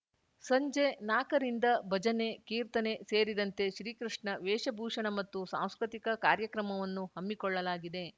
ಸಂಜೆ ನಾಕರಿಂದ ಭಜನೆ ಕೀರ್ತನೆ ಸೇರಿದಂತೆ ಶ್ರೀಕೃಷ್ಣ ವೇಷಭೂಷಣ ಮತ್ತು ಸಾಂಸ್ಕೃತಿಕ ಕಾರ್ಯಕ್ರಮವನ್ನು ಹಮ್ಮಿಕೊಳ್ಳಲಾಗಿದೆ